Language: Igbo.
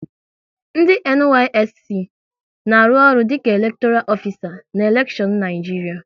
Ndị NYSC na-arụ ọrụ dịka elektoral ofisa na elekshion Naịjiria